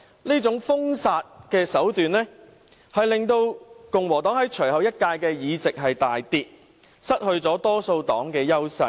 這種封殺手段令共和黨在隨後一屆的議席數目大跌，失去了多數黨的優勢。